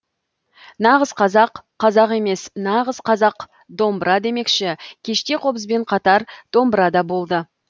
нағыз қазақ қазақ емес нағыз қазақ домбыра демекші кеште қобызбен қатар домбыра да болды